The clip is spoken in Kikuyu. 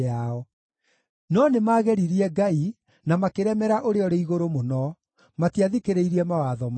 No nĩmageririe Ngai na makĩremera Ũrĩa-ũrĩ-Igũrũ-Mũno; matiathikĩrĩirie mawatho make.